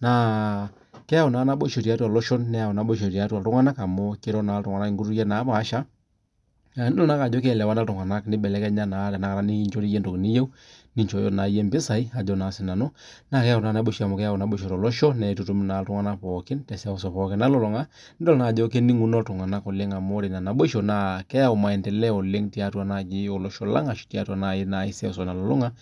naa keyau naa inaboisho tiatua iloshon, neyau naboisho tiatua iltunganak amuu keiro naa iltunganak inkutukie napaasha, nidol naake ajo keelewana iltunganak nebelekenya naa tenakata ninchorie iyie entoki niyeu, ninchooyo naa iyie impisai ajo naa sii nanu na keyau taata enaboisbo tiatua olosho, neitutum naa iltunganak pookin te seuseu pooki nalulunga, nidol naa ajo kening'uno iltunganak oleng amu ore ina naboisho naa keyau imenteleo oleng tiatua naaji ilosho lang ashu tiatua nai seuseu nalulunga .